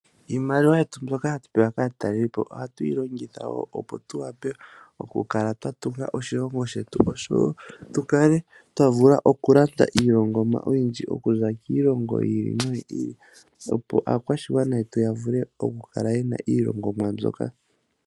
Iimaliwa yetu mbyoka hatu pewa kaatalelipo ohatu yi longitha opo tu wape oku kala twa tunga oshilongo shetu. Oshowo tu kale twa vula oku landa iilongomwa oyindji okuza kiilongo yiili noyi ili. Opo aakwashigwana yetu vule oku kala yena iilongomwa mbyoka.